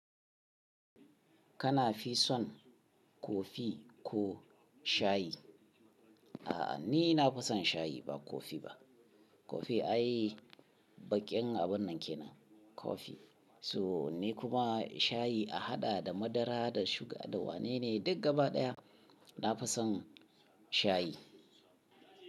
Kana fi son kofi ko shayi? A'a, ni na fi son shayi ba kofi ba. Kofi ayi baƙin abun nan kenan kofi. So ni kuma shayi a haɗa da madara, da suga, da wane ne duk gaba ɗaya. Na fi son shayi.